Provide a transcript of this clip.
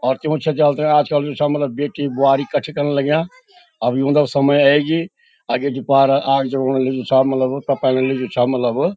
और त्यू छिंत्याल तै आजकल जु छा मलब बेटी ब्वारी कठ्ठी कन लग्यां अब ह्युंदा समय ऐगी आगे कि पार आग जगौण छा मलब तपण लग्युं छा मलब।